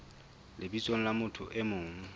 lebitsong la motho e mong